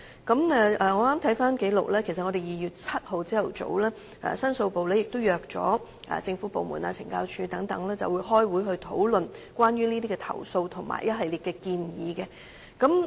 我剛翻查紀錄，其實在2月7日早上，申訴部也邀約了政府部門、懲教署等開會討論關於這些投訴和一系列建議。